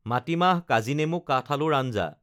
মাটিমাহ কাজিনেমু কাঠআলুৰ আঞ্জা